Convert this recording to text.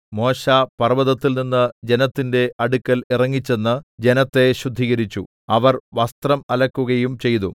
മോശെ പർവ്വതത്തിൽനിന്ന് ജനത്തിന്റെ അടുക്കൽ ഇറങ്ങിച്ചെന്ന് ജനത്തെ ശുദ്ധീകരിച്ചു അവർ വസ്ത്രം അലക്കുകയും ചെയ്തു